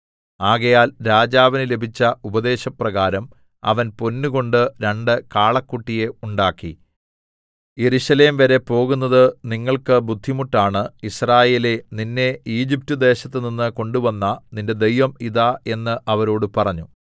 ആകയാൽ രാജാവിന് ലഭിച്ച ഉപദേശപ്രകാരം അവൻ പൊന്നുകൊണ്ട് രണ്ട് കാളക്കുട്ടിയെ ഉണ്ടാക്കി യെരൂശലേംവരെ പോകുന്നത് നിങ്ങൾക്ക് ബുദ്ധിമുട്ടാണ് യിസ്രായേലേ നിന്നെ ഈജിപ്റ്റ്ദേശത്തുനിന്ന് കൊണ്ടുവന്ന നിന്റെ ദൈവം ഇതാ എന്ന് അവരോട് പറഞ്ഞു